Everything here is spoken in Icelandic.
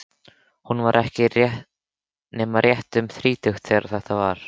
Hún var ekki nema rétt um þrítugt þegar þetta var.